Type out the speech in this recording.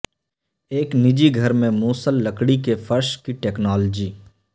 ایک نجی گھر میں موصل لکڑی کے فرش کی ٹیکنالوجی